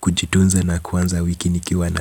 kujitunza na kuanza wiki nikiwa na.